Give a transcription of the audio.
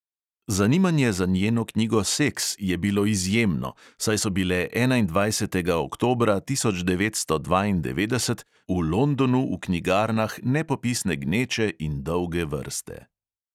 Zanimanje za njeno knjigo seks je bilo izjemno, saj so bile enaindvajsetega oktobra tisoč devetsto dvaindevetdeset v londonu v knjigarnah nepopisne gneče in dolge vrste.